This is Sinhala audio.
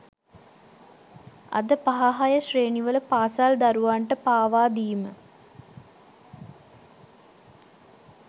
අද පහ හය ශ්‍රේණිවල පාසල් දරුවන්ට පවා දීම